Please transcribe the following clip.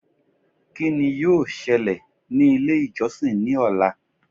Kí ni yóò ṣẹlẹ̀ ní ilé ìjọsìn ní ọ̀la